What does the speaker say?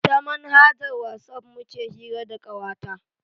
Ta manhajar Whatsapp muke hira da kawata.